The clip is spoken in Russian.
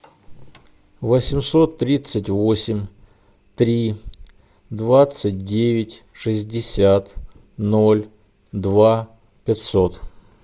восемьсот тридцать восемь три двадцать девять шестьдесят ноль два пятьсот